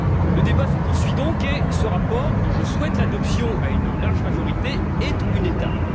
Le débat se poursuit donc, et ce rapport, dont je souhaite l'adoption à une large majorité, est une étape.